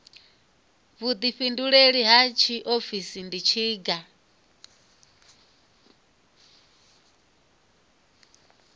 vhuḓifhinduleli ha tshiofisi ndi tshiga